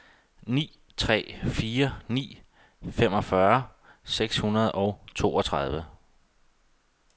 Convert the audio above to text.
ni tre fire ni femogfyrre seks hundrede og toogtredive